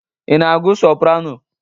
Ị na-agụ soparano?